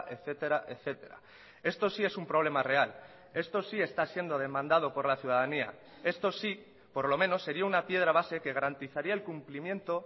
etcétera etcétera esto sí es un problema real esto sí está siendo demandado por la ciudadanía esto sí por lo menos sería una piedra base que garantizaría el cumplimiento